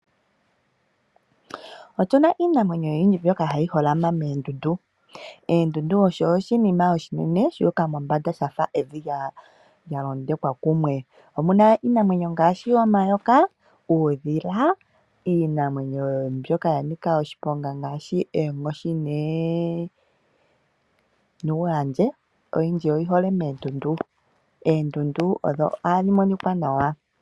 Otu na iinamwenyo oyindji mbyoka hayi holama meendundu. Eendundu osho oshinima oshinene shuuka mombanda shafa evi lyalondekwa kumwe. Omuna iinamwenyo ngaashi omayoka, uudhila, iinamwenyo mbyoka ya nika oshiponga ngaashi eenkoshi nuuhandje, oyindji oyi hole meendundu. Eendundu odho ohadhi monika nawa.